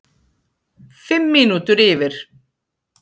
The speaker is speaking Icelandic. Fimm mínútur yfir